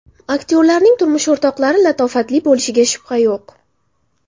Aktyorlarning turmush o‘rtoqlari latofatli bo‘lishiga shubha yo‘q.